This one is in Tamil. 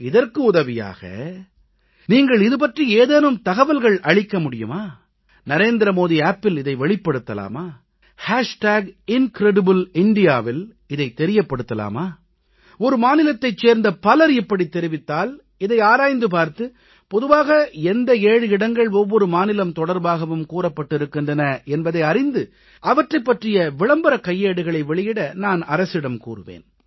இதற்கு உதவியாக நீங்கள் இது பற்றி ஏதேனும் தகவல்கள் அளிக்க முடியுமா NarendraModiAppஇல் இதை வெளிப்படுத்தலாமா IncredibleIndiaவில் இதை தெரியப்படுத்தலாமா ஒரு மாநிலத்தைச் சேர்ந்த பலர் இப்படித் தெரிவித்தால் இதை ஆராய்ந்து பார்த்து பொதுவாக ஒவ்வொரு மாநிலத்திலும் எந்த 7 இடங்கள் கூறப்பட்டிருக்கின்றன என்பதை அறிந்து அவற்றைப் பற்றிய விளம்பரக் கையேடுகளை வெளியிட நான் அரசிடம் கூறுவேன்